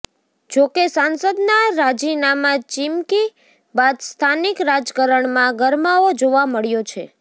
જો કે સાંસદના રાજીનામાં ચીમકી બાદ સ્થાનિક રાજકારણમાં ગરમાવો જોવા મળ્યો છે